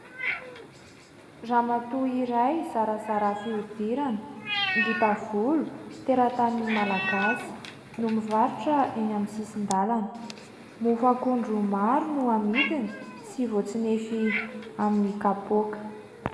Ramatoa iray zarazara fihodirana, ngita volo, teratany malagasy no mivarotra eny amin'ny sisin-dalana. Mofo akondro maro no amidiny sy voatsinefy amin'ny kapoaka.